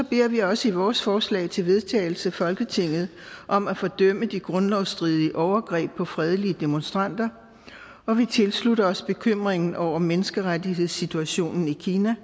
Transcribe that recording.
beder vi også i vores forslag til vedtagelse folketinget om at fordømme de grundlovsstridige overgreb på fredelige demonstranter og vi tilslutter os bekymringen over menneskerettighedssituationen i kina